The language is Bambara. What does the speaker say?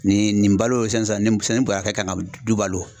Nin nin balo sisan nin sisan bɔrɛ kan ka du balo